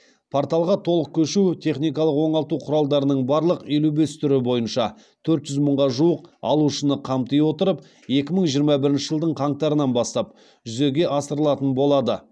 порталға толық көшу техникалық оңалту құралдарының барлық елу бес түрі бойынша төрт жүз мыңға жуық алушыны қамти отырып екі мың жиырма бірінші жылдың қаңтарынан бастап жүзеге асырылатын болады